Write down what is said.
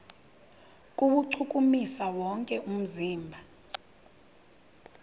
kuwuchukumisa wonke umzimba